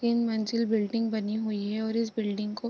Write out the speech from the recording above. तीन मंजिल बिल्डिंग बनी हुई हैं और इस बिल्डिंग को --